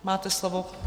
Máte slovo.